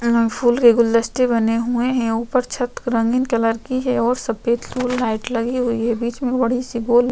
यहाँ पे फुल के गुलदस्ते बने हुए है ऊपर छत रंगीन कलर की है और सफ़ेद फूल लाइट लगी हुई है बिच में बड़ी सी बॉल --